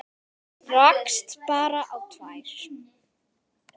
Rakst bara á tvær.